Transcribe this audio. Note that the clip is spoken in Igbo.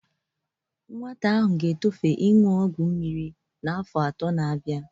Nwa a ga-etofe i na-aṅụ ọgwọ mmiri n'afọ ato na-abia.